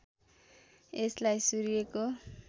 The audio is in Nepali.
यसलाई सूर्यको